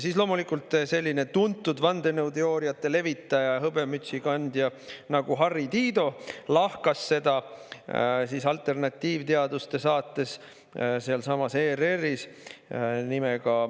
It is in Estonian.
Siis loomulikult selline tuntud vandenõuteooriate levitaja ja hõbemütsi kandja nagu Harri Tiido lahkas seda alternatiivteaduste saates sealsamas ERR‑is …